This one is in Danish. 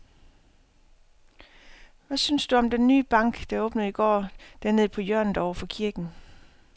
Hvad synes du om den nye bank, der åbnede i går dernede på hjørnet over for kirken?